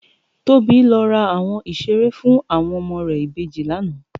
Tobi lò rá áwòn iṣéré fún áwòn òmò rè ibéjì làná